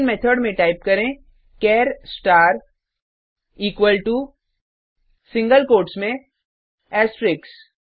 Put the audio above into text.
main method में type करें चार star equal to single quotes में एस्ट्रिक्स